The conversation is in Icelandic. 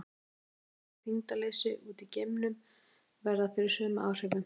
Geimfarar sem eru í þyngdarleysi úti í geimnum verða fyrir sömu áhrifum.